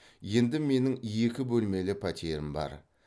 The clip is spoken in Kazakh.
енді менің екі бөлмелі пәтерім бар